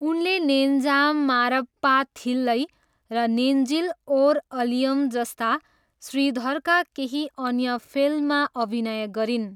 उनले नेन्जाम मारप्पाथिल्लै र नेन्जिल ओर अलयम जस्ता श्रीधरका केही अन्य फिल्ममा अभिनय गरिन्।